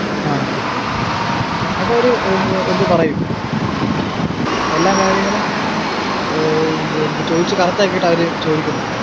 ആഹ് അതൊക്കെ അവര് പറയും എല്ലാ കാര്യങ്ങളും ചോദിച്ചു correct ആക്കിയിട്ടാ അവര് ചോദിക്കുന്നെ.